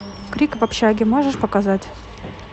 крик в общаге можешь показать